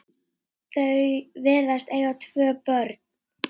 Þau virðast eiga tvö börn.